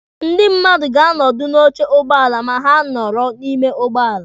Ndị mmadụ ga-anọdụ n'oche ụgbọala ma ha nọrọ n'ime ụgbọala.